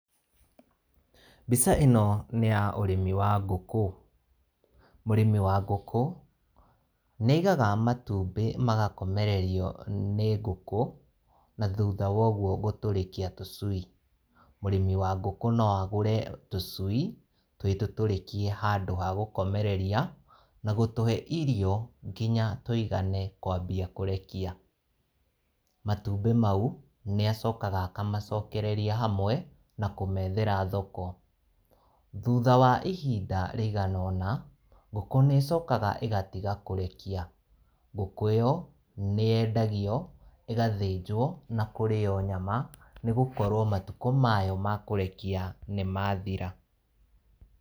Mbica ĩno nĩ ya ũrĩmi wa ngũkũ. Mũrĩmi wa ngũkũ nĩ aigaga matumbĩ magakomererio nĩ ngũkũ na thutha wa ũguo gũtũrĩkia tũcui. Mũrĩmi wa ngũkũ no agũre tũcui twĩ tũtũrĩkie handũ ha gũkomereria, na gũtũhe irio kinya tũigane kwambia kũrekia. Matumbĩ maũ nĩ acokaga akamacokereria hamwe na kũmethera thoko. Thutha wa ihinda rĩigana ũna, ngũkũ nĩ ĩcokaga ĩgatiga kũrekia. Ngũkũ ĩyo, nĩ yendagio, ĩgathĩnjwo na kũrĩo nyama nĩgũkorwo matukũ mayo ma kũrekia nĩmathira.